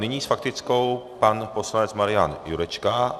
Nyní s faktickou pan poslanec Marian Jurečka.